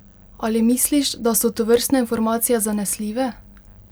Ali misliš, da so tovrstne informacije zanesljive?